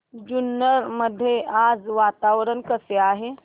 जुन्नर मध्ये आज वातावरण कसे आहे